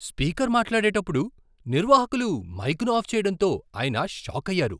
Speaker మాట్లాడేటప్పుడు నిర్వాహకులు మైకును ఆఫ్ చేయడంతో ఆయన షాకయ్యారు.